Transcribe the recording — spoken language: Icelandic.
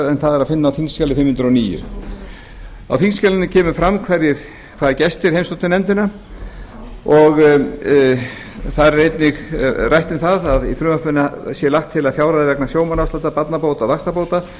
en það er að finna á þingskjali fimm hundruð og níu á þingskjalinu kemur fram hvaða gestir heimsóttu nefndina þar er einnig rætt um það að í frumvarpinu sé lagt til að fjárhæð vegna sjómannaafsláttar barnabóta og vaxtabóta